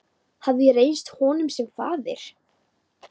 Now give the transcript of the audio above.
Hafði ég reynst honum sem faðir?